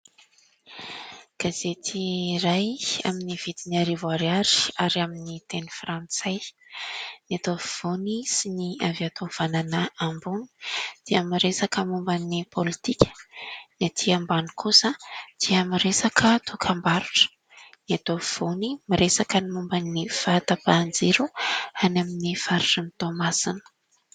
Gazety iray amin'ny vidiny arivo ariary ary amin'ny teny frantsay, eto afovoany sy ny avy ato havanana ambony dia miresaka momba ny pôlitika, ny aty ambany kosa dia miresaka dokam-barotra, eto afovoany miresaka momba ny fahatapahan-jiro any amin'ny faritrin'i Toamasina.